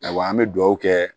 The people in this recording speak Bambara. Awa an bɛ dugawu kɛ